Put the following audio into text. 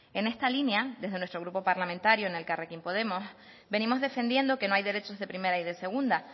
en esta línea desde nuestro grupo parlamentario en elkarrekin podemos venimos defendiendo que no hay derechos de primera y de segunda